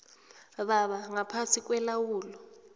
baba ngaphasi kwelawulo